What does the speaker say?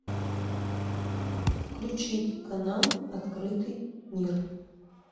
включить канал открытый мир